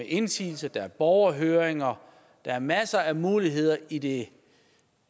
indsigelse at der er borgerhøringer og er masser af muligheder i det